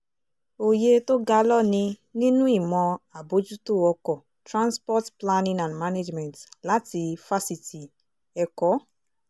òye tó ga ló ní nínú ìmọ̀ àbójútó ọkọ̀ transport planning and management láti fásitì ẹ̀kọ́